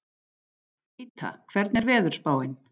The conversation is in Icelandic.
Gíta, hvernig er veðurspáin?